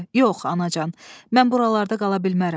Yox, anacan, mən buralarda qala bilmərəm.